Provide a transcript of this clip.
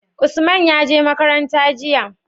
Usman ya je makaranta jiya?